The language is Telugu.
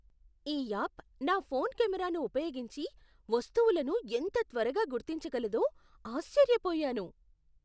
ఈ యాప్ నా ఫోన్ కెమెరాను ఉపయోగించి వస్తువులను ఎంత త్వరగా గుర్తించగలదో ఆశ్చర్యపోయాను!